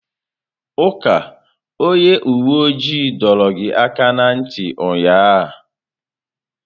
Uka onye uwe ojii dọọrọ gị aka na ntị ụnyaahụ!